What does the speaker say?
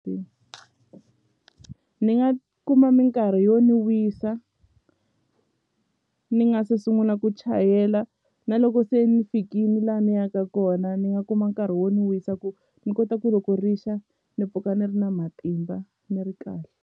Ni nga kuma minkarhi yo ni wisa ni nga se sunguna ku chayela na loko se ni fikini la ni yaka kona ni nga kuma nkarhi wo ni wisa ku ni kota ku loko rixa ni mpfuka ni ri na matimba ni ri kahle.